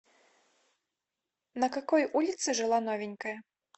на какой улице жила новенькая